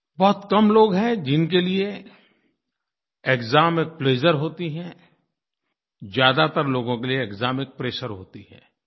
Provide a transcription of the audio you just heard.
बहुत कम लोग हैं जिनके लिए एक्साम में प्लेजर होती है ज़्यादातर लोगों के लिए एक्साम एक प्रेशर होती है